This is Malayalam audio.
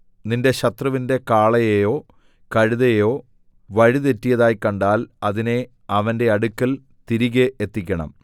നിന്റെ ശത്രുവിന്റെ കാളയോ കഴുതയോ വഴിതെറ്റിയതായി കണ്ടാൽ അതിനെ അവന്റെ അടുക്കൽ തിരികെ എത്തിക്കണം